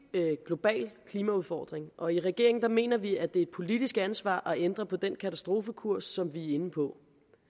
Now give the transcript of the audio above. global klimaudfordring og i regeringen mener vi det er et politisk ansvar at ændre på den katastrofekurs som vi er inde på